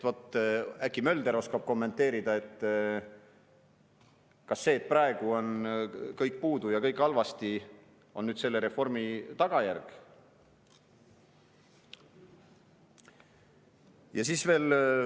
Äkki Mölder oskab kommenteerida, kas see, et praegu on kõigest puudu ja kõik on halvasti, on selle reformi tagajärg?